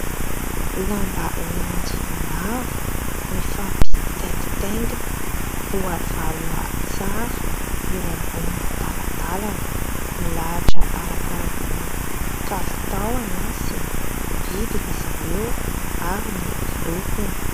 Lamba landy maro mifampitaingitaingina voavalona tsara eo ambony talantalana. Milahatra arakaraka ny kalitaony sy ny vidiny izy ireo ary ny lokony.